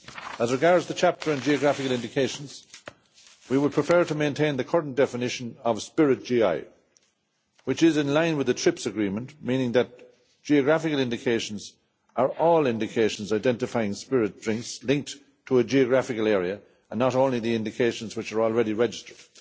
As regards the chapter on geographical indications, we would prefer to maintain the current definition of spirit GI, which is in line with the TRIPS agreement meaning that geographical indications are all indications identifying spirit drinks linked to a geographical area, and not only the indications which are already registered.